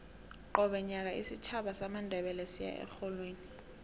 qobe nyaka isitjhaba samandebele siya erholweni